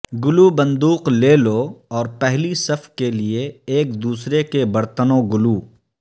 گلو بندوق لے لو اور پہلی صف کے لئے ایک دوسرے کے برتنوں گلو